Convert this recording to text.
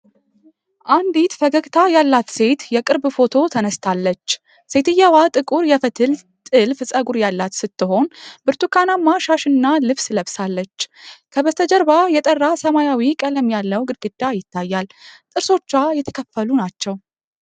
አንዲት ፈገግታ ያላት ሴት የቅርብ ፎቶ ተነስታለች። ሴትየዋ ጥቁር የፈትል ጠለፈ ፀጉር ያላት ስትሆን፣ ብርቱካናማ ሻሽና ልብስ ለብሳለች። ከበስተጀርባ የጠራ ሰማያዊ ቀለም ያለው ግድግዳ ይታያል። ጥርሶቿ የተከፈሉ ናቸው።